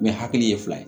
hakili ye fila ye